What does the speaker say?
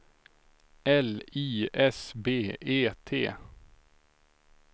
L I S B E T